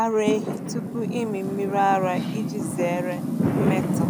ara ehi tupu ịmị mmiri ara iji zere mmetọ.